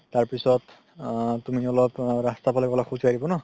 তাৰ পিছত তুমি অলপ আ ৰাস্তা ফালে গ'লা খোজ কাঢ়িব ন